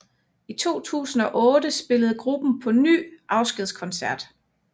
I 2008 spillede gruppen på ny afskedskoncert